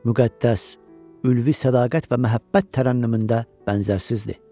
Müqəddəs, ülvi sədaqət və məhəbbət tərənnümündə bənzərsizdir.